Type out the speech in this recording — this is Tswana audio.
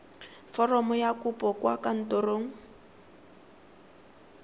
foromo ya kopo kwa kantorong